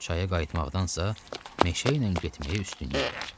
Çaya qayıtmaqdansa meşə ilə getməyə üstünlük verər.